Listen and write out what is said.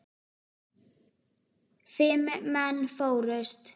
Fimm menn fórust.